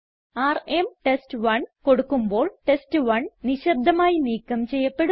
RM ടെസ്റ്റ്1 കൊടുക്കുമ്പോൾ ടെസ്റ്റ്1 നിശബ്ദമായി നീക്കം ചെയ്യപ്പെടുന്നു